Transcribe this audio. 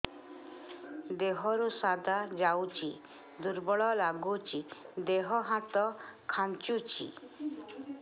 ଦେହରୁ ସାଧା ଯାଉଚି ଦୁର୍ବଳ ଲାଗୁଚି ଦେହ ହାତ ଖାନ୍ଚୁଚି